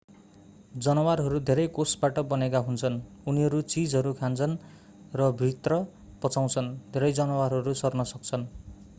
जनावरहरू धेरै कोषबाट बनेका हुन्छन् उनीहरू चीजहरू खान्छन् रभित्र पचाउँछन् धेरै जनावरहरू सर्न सक्छन्